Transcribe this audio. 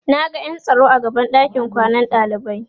Naga ƴan tsaro a gaban ɗakin kwanan ɗalibai